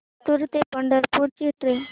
लातूर ते पंढरपूर ची ट्रेन